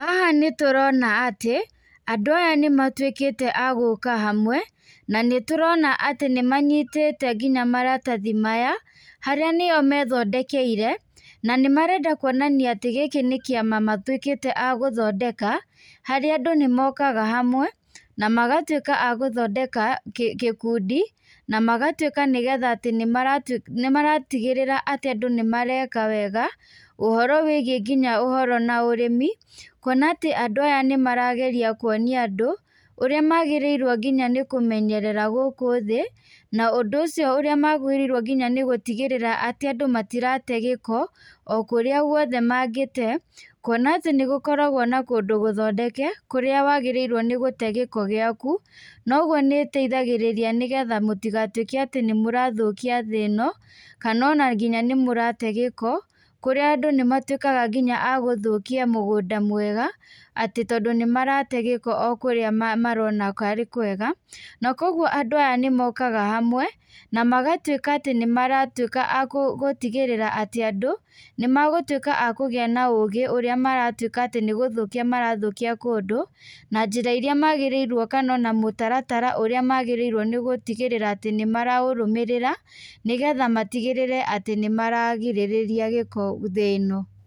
Haha niĩ tũrona atĩ andũ aya nĩ matuĩkĩte agũka hamwe na nĩ tũrona ati nĩ manyitĩte nginya maratathi maya harĩa nĩo methondekeire. Na nĩ marenda kuonania atĩ gĩkĩ nĩ kĩama matuĩkĩte agũthondeka harĩa andũ nĩ mokaga hamwe na magatuĩka agũthondeka gĩkundi na magatuĩka nĩ getha atĩ nĩ maratigĩrĩra atĩ nĩ mareka wega. Ũhoro wĩgiĩ nginya atĩ na ũhoro wa ũrĩmi, kuona atĩ andũ aya nĩ marageria kuonia andũ ũrĩa magĩrĩirwo nginya nĩ kũmenyerera gũkũ thĩ. Na ũndũ ũcio ũrĩa magĩrĩirwo nginya nĩ gũtiga atĩ andũ matirate gĩko okũrĩa guothe mangĩtee. Kuona atĩ nĩ gũkoragwo na kũndũ gũthondeke kũrĩa wagĩrĩirwo nĩ gũte gĩko gĩaku. No ũguo nĩ ũteithagĩrĩria atĩ nĩ mũrathũkia thĩ ĩno kana ona nĩ mũrate gĩko kũrĩa nginya andũ nĩ matuĩkaga nginya agũthũkia mũgunda mwega, atĩ tondũ nĩ marate gĩko ũkũrĩa marona atĩ tarĩ kwega. Na koguo andũ aya nĩ mokaga hamwe na magatuĩka atĩ nĩ maratuĩka agũtigĩrira atĩ andũ nĩ magũtuĩka akũgĩa na ũgĩ ũrĩa maratuĩka atĩ nĩ gfũthũkia marathũkia kũndũ. Na njĩra iria magĩrĩirwo kana ona mũtaratara ũrĩa magĩrĩirwo nĩ gũtigĩrĩra atĩ nĩ maraũrũmĩrĩra nĩ getha matigĩrĩre atĩ nĩ mararigĩrĩria giko thĩ ĩno.